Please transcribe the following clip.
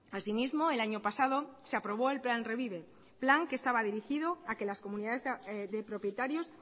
así mismo el año pasado se aprobó el plan revive plan que estaba dirigido a que las comunidades de propietarios